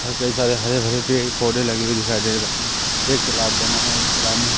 और कई सारे हरे भरे पेड़ पौधे लगे हुए दिखाई दे रहे एक तालाब बना हुआ जो तालाब में--